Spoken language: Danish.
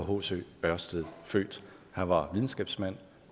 hc ørsted født han var videnskabsmand